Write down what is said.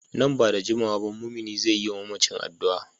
Nan ba da jimawa ba mumini zai yi wa mamacin addu’a.